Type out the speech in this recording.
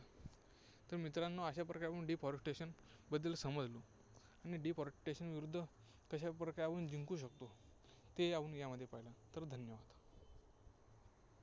तर मित्रांनो, अशाप्रकारे आपण deforestation बद्दल समजलो. आणि deforestation विरुद्ध कशाप्रकारे आपण जिंकू शकतो, ते आपण यामध्ये पाहिलं. तर धन्यवाद.